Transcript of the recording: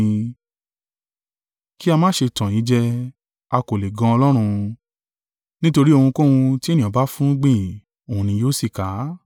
Kí a má ṣe tàn yín jẹ; a kò lè gan Ọlọ́run: nítorí ohunkóhun tí ènìyàn bá fúnrúgbìn, òhun ni yóò sì ká.